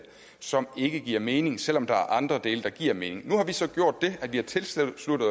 som ikke giver mening selv om der er andre dele der giver mening nu har vi så gjort det at vi har tilsluttet